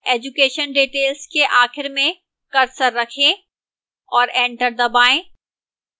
education details के आखिर में cursor रखें और enter दबाएं